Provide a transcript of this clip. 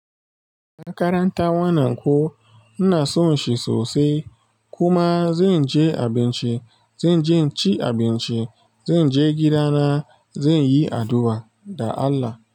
Karanta wannan ko inason shi sosai. Kuma zan je abinci, zan je inci abinci, zan je gida na, zan yi addu'a da Allah.